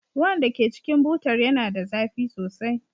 Ruwan da ke cikin butar yana da zafi sosai.